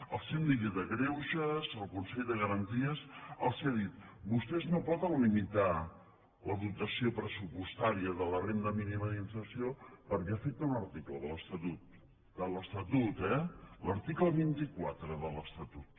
el síndic de greuges el consell de garanties els han dit vostès no poden limitar la dotació pressupostària de la renda mínima d’inserció perquè afecta un article de l’estatut de l’estatut eh l’article vint quatre de l’estatut